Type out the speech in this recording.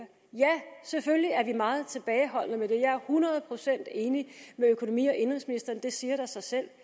ja selvfølgelig er vi meget tilbageholdende med det jeg er hundrede procent enig med økonomi og indenrigsministeren det siger da sig selv